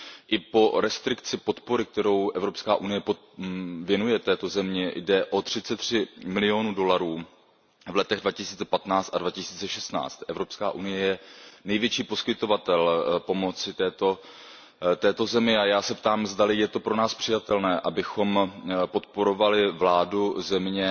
I po restrikci podpory, kterou Evropská unie věnuje této zemi, jde o třicet tři milionů dolarů v letech 2015 a 2016. Evropská unie je největší poskytovatel pomoci této zemi a já se ptám, zdali je to pro nás přijatelné, abychom podporovali vládu země